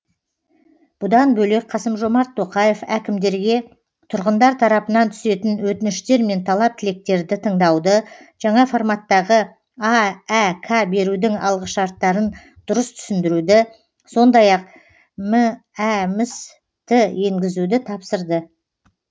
бұдан бөлек қасым жомарт тоқаев әкімдерге тұрғындар тарапынан түсетін өтініштер мен талап тілектерді тыңдауды жаңа форматтағы аәк берудің алғышарттарын дұрыс түсіндіруді сондай ақ мәмс ті енгізуді тапсырды